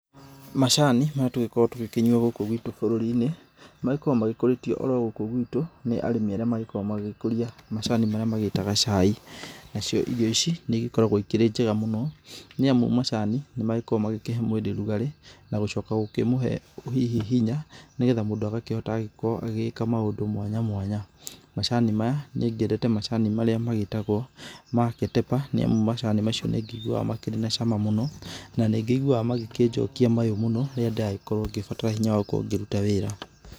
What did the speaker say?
Macani, marĩa tũgĩkoragwo tũgĩkĩnyua gũkũ gwitũ bũrũri-inĩ, makoragwo magĩkũrĩtio oro gũkũ guitũ, nĩ arĩmi aria makoragwo magĩkũria macani marĩa magĩtaga cai, na cio irio ici nĩ ĩgĩkoragwo ikĩri njega mũno, nĩ amu macani, nĩ magĩkoragwo magĩkĩhe mwĩrĩ rugarĩ, na gũcoka gũkĩmuhe hihi hinya, nĩ getha mũngũ agakĩhota agagĩkorwo agĩgĩka maũndũ mwanya mwanya. Macani maya, niĩ nngĩendete macani marĩa magĩĩtagwa ma Ketepa, niĩ macani macio nĩ njiguaga makĩrĩ na cama mũno, na nĩ ngĩiguaga magĩkĩnjokia mayo mũno, rĩrĩa ndĩragĩkorwo ngĩbatara hinya wa gũkorwo ngĩruta wĩra.